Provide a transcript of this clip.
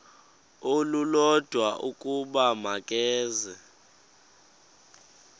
olulodwa ukuba makeze